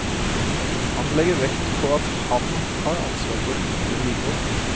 Han legger vekt på at han har ansvar for ytre vedlikehold.